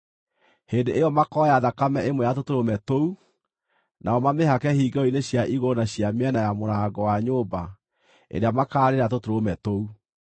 Hĩndĩ ĩyo makooya thakame ĩmwe ya tũtũrũme tũu, nao mamĩhake hingĩro-inĩ cia igũrũ na cia mĩena ya mũrango wa nyũmba ĩrĩa makaarĩĩra tũtũrũme tũu.